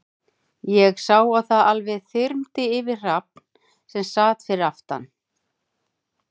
Ég sá að það alveg þyrmdi yfir Hrafn, sem sat fyrir aftan